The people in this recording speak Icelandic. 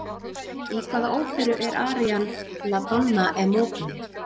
Í hvaða óperu er arían La Donna e mobile?